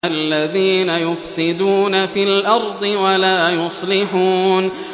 الَّذِينَ يُفْسِدُونَ فِي الْأَرْضِ وَلَا يُصْلِحُونَ